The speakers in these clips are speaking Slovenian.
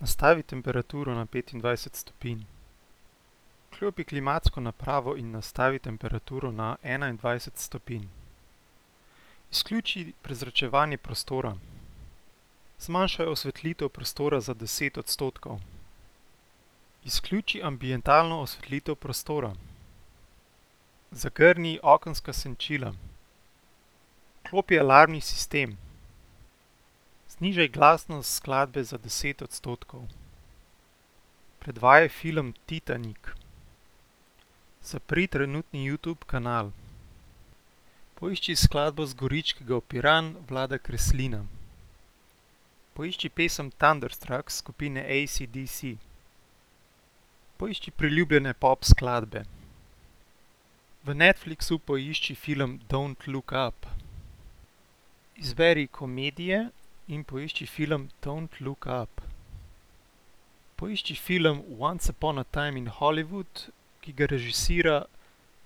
Nastavi temperaturo na petindvajset stopinj. Vklopi klimatsko napravo in nastavi temperaturo na enaindvajset stopinj. Izključi prezračevanje prostora. Zmanjšaj osvetlitev prostora za deset odstotkov. Izključi ambientalno osvetlitev prostora. Zagrni okenska senčila. Vklopi alarmni sistem. Znižaj glasnost skladbe za deset odstotkov. Predvajaj film Titanik. Zapri trenutni Youtube kanal. Poišči skladbo Z Goričkega v Piran Vlada Kreslina. Poišči pesem Thunderstruck skupine AC/DC. Poišči priljubljene pop skladbe. V Netflixu poišči film Don't look up. Izberi komedije in poišči film Don't look up. Poišči film Once upon a time in Hollywood, ki ga režira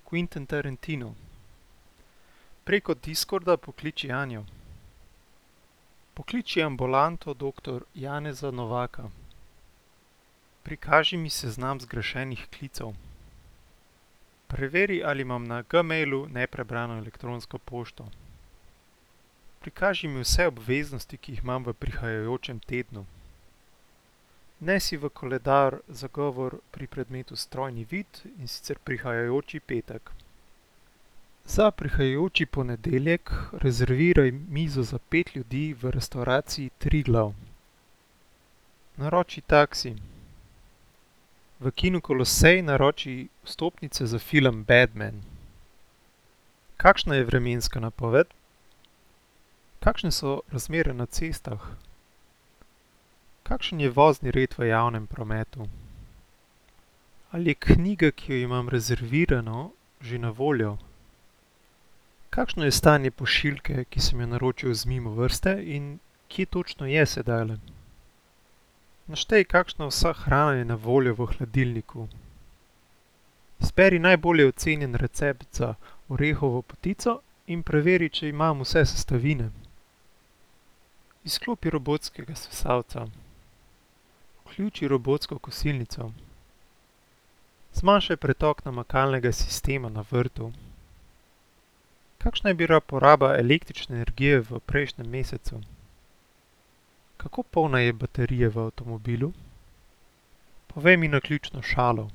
Quentin Tarantino. Preko Discorda pokliči Anjo. Pokliči ambulanto doktor Janeza Novaka. Prikaži mi seznam zgrešenih klicev. Preveri, ali imam na Gmailu neprebrano elektronsko pošto. Prikaži mi vse obveznosti, ki jih imam v prihajajočem tednu. Vnesi v koledar zagovor pri predmetu Strojni vid, in sicer prihajajoči petek. Za prihajajoči ponedeljek rezerviraj mizo za pet ljudi v restavraciji Triglav. Naroči taksi. V kinu Kolosej naroči vstopnice za film Bad man. Kakšna je vremenska napoved? Kakšne so razmere na cestah? Kakšen je vozni red v javnem prometu? Ali je knjiga, ki jo imam rezervirano, že na voljo? Kakšno je stanje pošiljke, ki sem jo naročil z Mimovrste, in kje točno je sedajle? Naštej, kakšna vsa hrana je na voljo v hladilniku. Izberi najbolje ocenjen recept za orehovo potico in preveri, če imam vse sestavine. Izklopi robotskega sesalca. Vključi robotsko kosilnico. Zmanjšaj pretok namakalnega sistema na vrtu. Kakšna je bila poraba električne energije v prejšnjem mesecu? Kako polna je baterija v avtomobilu? Povej mi naključno šalo.